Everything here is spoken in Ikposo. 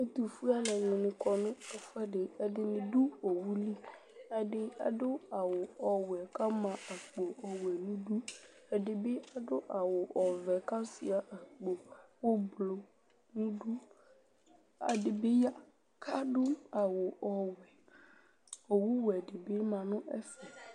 Ɛtufue alu ɛdini kɔ nu ɛfu ɛdi Ɛdini du owuli Ɛdi adi awu ɔwɛ ku ama akpo owɛ nu udu Ɛdibi adu awu ɔvɛ ku asuia akpo ublɔ nu udu Ɛdi bi ya ku adu awu ɔwɛ Owu wɛ di bi ma nu ɛfɛ